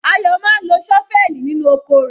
Ayo máa ń lo ṣọ́fẹ́ẹ̀lì nínú oko rẹ̀.